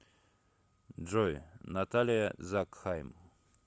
джой наталия закхайм